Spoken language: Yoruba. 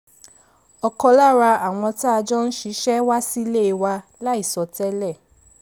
ọ̀kan lára àwọn tá a jọ ń ṣiṣẹ́ wá sílé wa láìsọ tẹ́lè